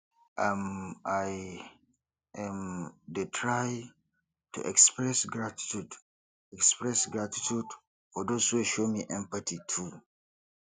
um i um dey try to express gratitude express gratitude for those wey show me empathy too